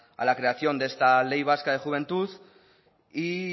a la creación de esta ley vasca de juventud y